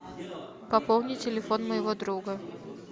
пополни телефон моего друга